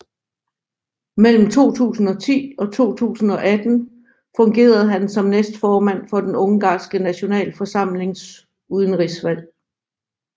Mellem 2010 og 2018 fungerede han som næstformand for den ungarske nationalforsamlings udenrigsudvalg